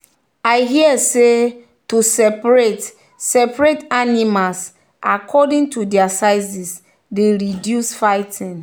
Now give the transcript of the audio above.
i hear say to separate separate animals according to their sizes dey reduce fighting.